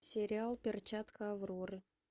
сериал перчатка авроры